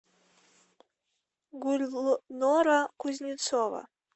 гульнора кузнецова